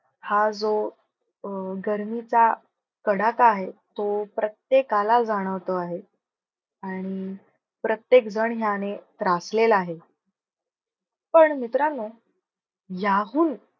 हा जो अं गर्मीचा कडाका आहे. तो प्रत्येकला जाणवतो आहे. आणि प्रत्येक झण याने त्रासलेला आहे. पण मित्रांनो याहून